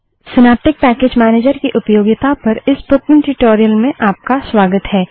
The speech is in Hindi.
सिनैप्टिक पैकेज मैनेजर की उपयोगिता पर इस स्पोकन ट्यूटोरियल में आपका स्वागत है